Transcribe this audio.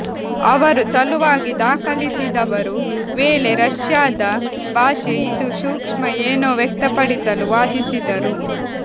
ಅವರು ಸಲುವಾಗಿ ದಾಖಲಿಸಿದವರು ವೇಳೆ ರಷ್ಯಾದ ಭಾಷೆ ಇದು ಸೂಕ್ಷ್ಮ ಏನೋ ವ್ಯಕ್ತಪಡಿಸಲು ವಾದಿಸಿದರು